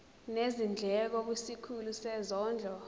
nezindleko kwisikhulu sezondlo